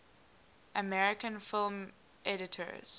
american film editors